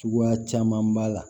Cogoya caman b'a la